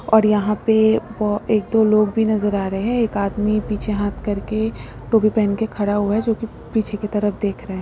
और यहां पे अ एक दो लोग भी नजर आ रहे हैं एक आदमी पीछे हाथ करके टोपी पहन के खड़ा हुआ है जो कि पीछे की तरफ देख रहे हैं।